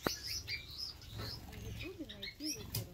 на ютюбе найти лупера